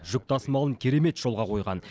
жүк тасымалын керемет жолға қойған